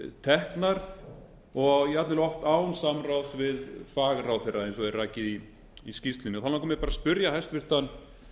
teknar og jafnvel oft án samráðs við fagráðherra eins og er rakið í skýrslunni mig langar að spyrja hæstvirtan